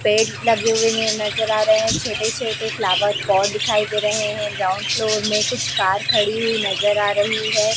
पेड़ लगे हुए ने नजर आ रहे है छोटे- छोटे फ्लावर पॉट दिखाई दे रहे है ग्राउंड फ्लोर में कुछ कार खड़ी हुई नजर आ रही हैं।